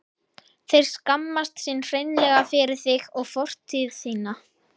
Þeir skammast sín hreinlega fyrir þig og fortíð þína.